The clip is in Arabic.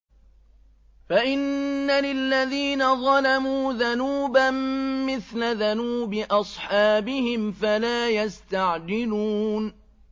فَإِنَّ لِلَّذِينَ ظَلَمُوا ذَنُوبًا مِّثْلَ ذَنُوبِ أَصْحَابِهِمْ فَلَا يَسْتَعْجِلُونِ